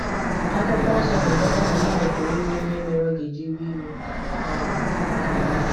akwụkwo nsọ na - ekweta na mmadụ pụrụ inwe ihe mere ọ ga - eji wee iwe. um